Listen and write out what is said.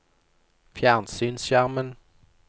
fjernsynsskjermen